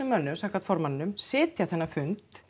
mönnum samkvæmt formanninum sitja þennan fund